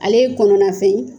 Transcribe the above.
Ale ye kɔnɔna fɛn ye